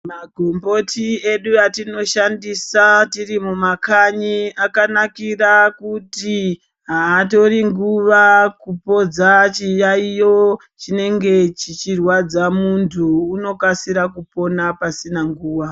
Magomboti edu atinoshandisa tirimumakanyi akanakira kuti hatori nguva kupodza chiyayiyo chinenge chichirwadza muntu unokasira kupona pasina nguwa.